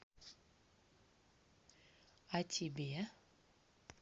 а тебе